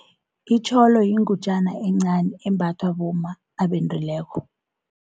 Itjholo yingutjana encani embathwa bomma abendileko.